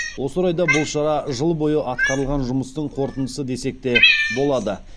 осы орайда бұл шара жыл бойы атқарылған жұмыстың қорытындысы десек те болады